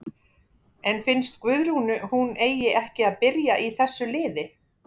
En finnst Guðrúnu hún eigi ekki að byrja í þessu liði?